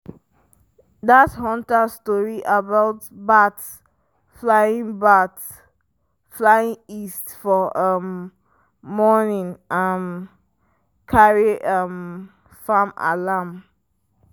dat hunter story about bats flying bats flying east for um morning um carry um farm alarm.